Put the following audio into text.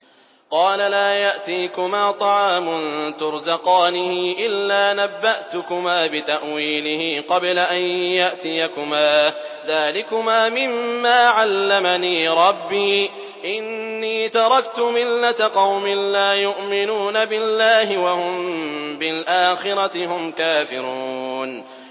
قَالَ لَا يَأْتِيكُمَا طَعَامٌ تُرْزَقَانِهِ إِلَّا نَبَّأْتُكُمَا بِتَأْوِيلِهِ قَبْلَ أَن يَأْتِيَكُمَا ۚ ذَٰلِكُمَا مِمَّا عَلَّمَنِي رَبِّي ۚ إِنِّي تَرَكْتُ مِلَّةَ قَوْمٍ لَّا يُؤْمِنُونَ بِاللَّهِ وَهُم بِالْآخِرَةِ هُمْ كَافِرُونَ